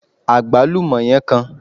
agbalumo yen kan